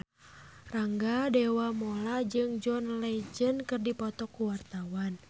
Rangga Dewamoela jeung John Legend keur dipoto ku wartawan